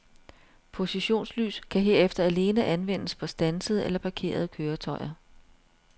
Positionslys kan herefter alene anvendes på standsede eller parkerede køretøjer.